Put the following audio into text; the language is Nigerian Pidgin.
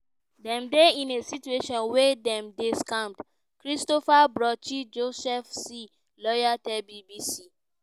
"dem dey in a situation wia dem dey scammed" christophe bruschi joseph c lawyer tell bbc.